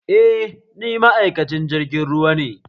Eh, ni ma'aikacin jirgin ruwa ne